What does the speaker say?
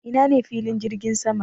Ina ne filin jirgin sama?